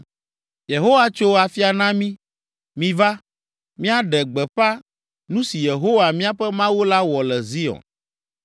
“ ‘Yehowa tso afia na mí, miva, míaɖe gbeƒã nu si Yehowa, míaƒe Mawu la wɔ le Zion.’